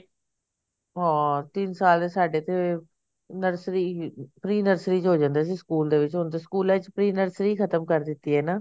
ਹਾਂ ਤਿੰਨ ਸਾਲ ਸਾਡੇ ਤੇ nursery pre nursery ਚ ਹੋ ਜਾਂਦੇ ਸੀ ਸਕੂਲ ਦੇ ਵਿਚ ਹੁਣ ਤਾਂ ਸਕੂਲਾਂ ਵਿਚ pre nursery ਹੀ ਖਤਮ ਕਰਤੀ ਹਨਾ